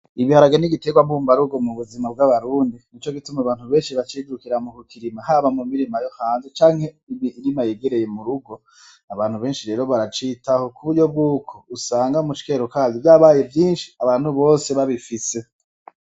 Ibiharage n'igitegwa mbumba rugo mu buzima bw'abarundi nico gituma abantu benshi bacijukira mu kukirima haba mumirima yo hanze canke iyereye kurugo baracitaho kuburyo usanga mukero kavyo usanga vyabaye vyinshi bose babifise.